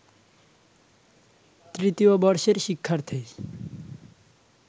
তৃতীয় বর্ষের শিক্ষার্থী